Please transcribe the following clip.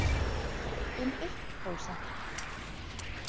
Um eitt prósent.